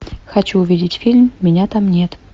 хочу увидеть фильм меня там нет